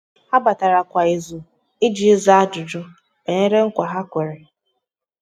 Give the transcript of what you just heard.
há batara kwa ìzù iji zàá ájụ́jụ́ banyere nkwa ha kwèrè.